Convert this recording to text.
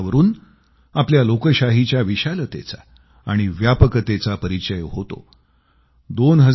यावरून आपल्या लोकशाहीच्या विशालतेचा आणि व्यापकतेचा परिचय होतो